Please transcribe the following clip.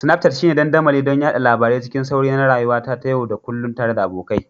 Snapchat shine dandamali don yada labarai cikin sauri na rayuwata ta yau da kullun tare da abokai.